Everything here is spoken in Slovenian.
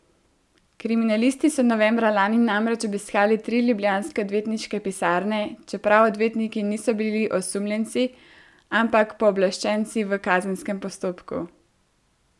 Kriminalisti so novembra lani namreč obiskali tri ljubljanske odvetniške pisarne, čeprav odvetniki niso bili osumljenci, ampak pooblaščenci v kazenskem postopku.